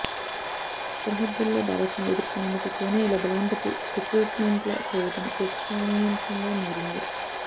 సరిహద్దులో భారత్ను ఎదుర్కొనేందుకు చైనా ఇలా బలవంతపు రిక్రూట్మెంట్ల చేయడం చర్చనీయాంశంగా మారింది